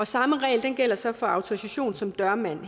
samme regler gælder så for autorisation som dørmand